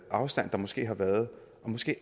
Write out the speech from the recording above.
afstand der måske har været måske